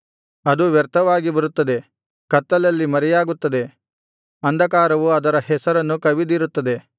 ಅದು ವ್ಯರ್ಥವಾಗಿ ಬರುತ್ತದೆ ಕತ್ತಲಲ್ಲಿ ಮರೆಯಾಗುತ್ತದೆ ಅಂಧಕಾರವು ಅದರ ಹೆಸರನ್ನು ಕವಿದಿರುತ್ತದೆ